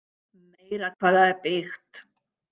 Meira hvað það er byggt!